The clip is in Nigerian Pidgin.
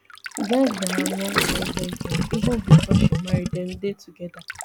geng na her long time boyfriend even before she marry dem dey togeda